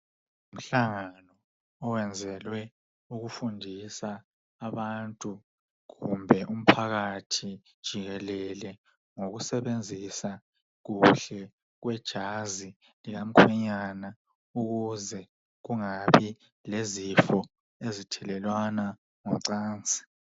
Umhlangano owenzelwe ukufundisa abantu kumbe umphakathi jikelele ngokusebenzisa kuhle kwejazi lika mkhwenyana ukuze ungabi lezifo ezithelelwana ngocansi.